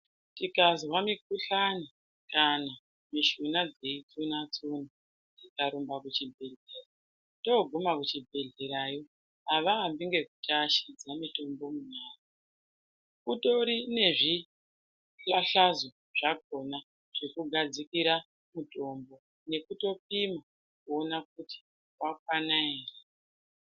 Tikazwa mukuhlani kana mishuna dzeyitsuna tsuna tikarumba kuchibhehleya toguma kuchibhehleya yo havaambi ngekuti ashidza mitombo munyara kutori nezvipahlazo zvakona zvekufadzikira mutombo nekutopima kuona kuti wakwana here.